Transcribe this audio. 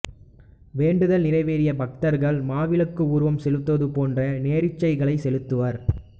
வேண்டுதல் நிறைவேறிய பக்தர்கள் மாவிளக்கு உருவம் செலுத்துவது போன்ற நேர்ச்சைகளைச் செலுத்துவர்